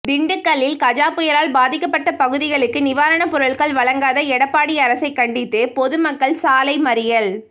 திண்டுக்கல்லில் கஜா புயலால் பாதிக்கப்பட்ட பகுதிகளுக்கு நிவாரணப் பொருட்கள் வழங்காத எடப்பாடி அரசைக் கண்டித்து பொதுமக்கள் சாலை மறியல்